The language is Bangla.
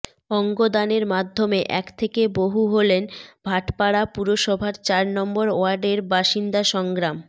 অঙ্গদানের মাধ্যমে এক থেকে বহু হলেন ভাটপাড়া পুরসভার চার নম্বর ওয়ার্ডের বাসিন্দা সংগ্রাম